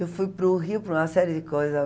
Eu fui para o Rio para uma série de coisa.